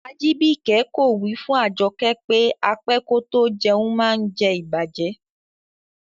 Ajibike ko wi fun Ajoke pe á pẹ kò tó jẹ̀un maá ǹ jẹ̀ ìbàjẹ́.